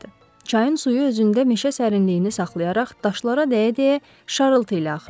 Çayın suyu özündə meşə sərinliyini saxlayaraq daşlara dəyə-dəyə şarıltı ilə axırdı.